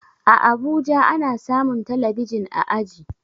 A abuja ana samun talabijin a aji